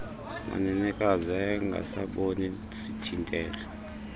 manenekazi ayengasaboni sithintelo